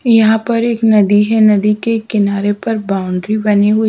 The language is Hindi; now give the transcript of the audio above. यहां पर एक नदी है नदी के किनारे पर बाउंड्री बनी हुई--